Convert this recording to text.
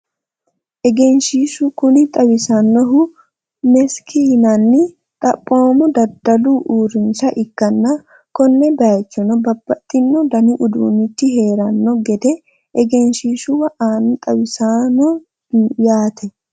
egenshiishshu kuni xawisannohu meski yinani xaphoomu daddalu uurrinsha ikkanna, konne bayiichono babbaxino dani uduunnichi heeranno gede egenshiishshu aana xawinsoonni yaate.